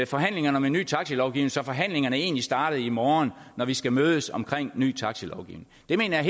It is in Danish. forhandlingerne om en ny taxilovgivning så forhandlingerne egentlig startede i morgen når vi skal mødes om ny taxilovgivning det mener jeg